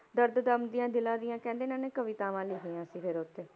ਦਰਦ ਏ ਦਮ ਦੀਆਂ ਜ਼ੇਲ੍ਹਾਂ ਦੀਆਂ ਕਹਿੰਦੇ ਇਹਨਾਂ ਨੇ ਕਵਿਤਾਵਾਂ ਲਿਖੀਆਂ ਸੀ ਫਿਰ ਉੱਥੇ